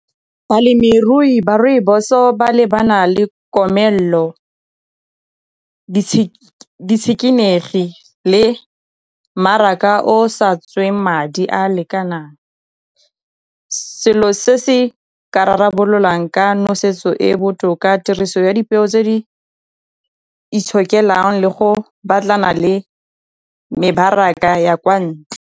Balemirui ba rooibos-o ba lebana le komelelo le le mmaraka o sa tsweng madi a a lekanang, selo se se ka rarabololang ka nosetso e botoka tiriso ya dipeo tse di itshokelang le go batlana le mebaraka ya kwa ntle.